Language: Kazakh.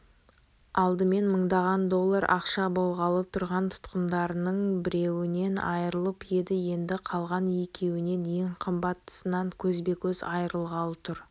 алдымен мыңдаған доллар ақша болғалы тұрған тұтқындарының біреуінен айрылып еді енді қалған екеуінен ең қымбаттысынан көзбе-көз айрылғалы тұр